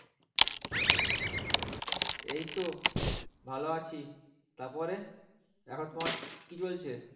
এইতো ভালো আছি তারপরে এখন তোমার কি চলছে?